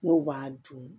N'o b'a dun